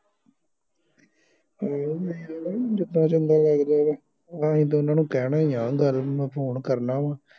ਜਿੰਦਾ ਚੰਗਾ ਲੱਗਦਾ ਵਾ ਨਾਲੇ ਅਹਿ ਤੇ ਉਹਨਾਂ ਨੂੰ ਕਹਿਣਾ ਇਆ ਗੱਲ ਮੈ ਫੋਨ ਕਰਨਾ ਵਾ